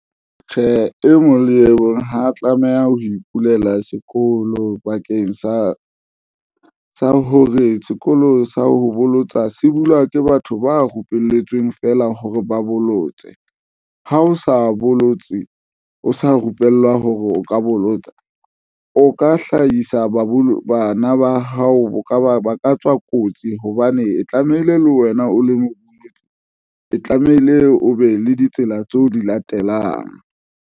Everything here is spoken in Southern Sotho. Tjhe, e mong le e mong ha a tlameha ho ipulela sekolo bakeng sa hore sekolo sa ho bolotsa se bulwa ke batho ba rupelletsweng feela hore ba bollotse. Ha o sa bolotse, o sa rupellwa hore o ka bolotsa o ka hlahisa babo bana ba hao ba ka ba ba ka tswa kotsi hobane e tlamehile le wena, o le mosebetsi e tlamehile o be le ditsela tseo di latelang.